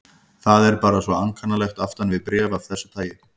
Það er bara svo ankannalegt aftan við bréf af þessu tagi.